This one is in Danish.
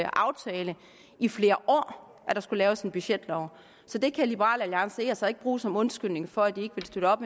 aftale i flere år at der skulle laves en budgetlov så det kan liberal alliance altså ikke bruge som undskyldning for at de ikke vil støtte op